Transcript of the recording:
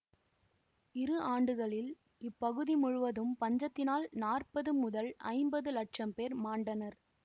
இரு ஆண்டுகளில் இப்பகுதி முழுவதும் பஞ்சத்தினால் நாற்பது முதல் ஐம்பது லட்சம் பேர் மாண்டனர்